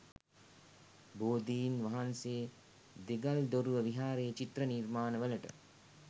බෝධින් වහන්සේ දෙගල්දොරුව විහාරයේ චිත්‍ර නිර්මාණවලට